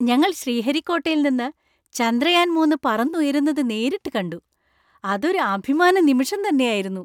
ഞങ്ങൾ ശ്രീഹരിക്കോട്ടയിൽ നിന്ന് ചന്ദ്രയാൻ മൂന്ന് പറന്നുയരുന്നത് നേരിട്ട് കണ്ടു; അതൊരു അഭിമാനനിമിഷം തന്നെയായിരുന്നു.